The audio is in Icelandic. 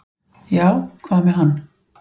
"""Já, hvað með hann?"""